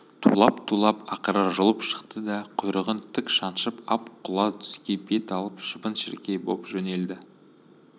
тулап-тулап ақыры жұлып шықты да құйрығын тік шаншып ап құла дүзге бет алып шыбын-шіркей боп жөнелді